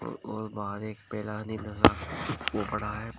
और बाहर एक ओ पड़ा है।